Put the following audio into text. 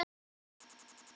Voru þau haldin nema tvö?